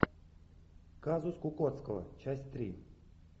казус кукоцкого часть три